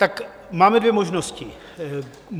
Tak máme dvě možnosti.